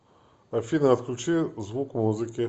афина отключи звук музыки